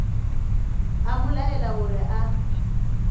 a mo laela gore a